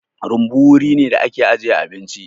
Rumbu wuri ne da ake ajiye abinci.